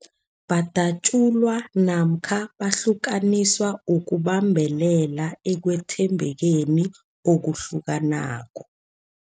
Badatjulwa namkha bahlukaniswa ukubambelela ekwethembekeni okuhlukanako.